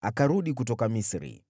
akarudi kutoka Misri.